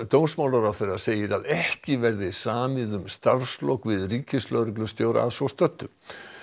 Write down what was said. dómsmálaráðherra segir að ekki verði samið um starfslok við ríkislögreglustjóra að svo stöddu